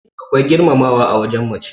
akwai girmamawa a wajen mace